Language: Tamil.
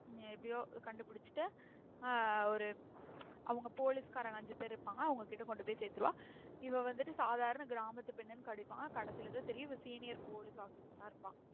உம் எப்டியோ கண்டு பிடிச்சிட்டு ஆ ஒரு அவங்க police காரங்க அஞ்சு பேர் இருபாங்க அவங்ககிட்ட கொண்டுபோய் சேத்துருவா. இவ வந்துட்டு சாதார கிராமத்து பெண்ணுன்னு காட்டிருபாங்க கடைசில தான் தெரியும் இவ senior police officer ஆ இருப்பா.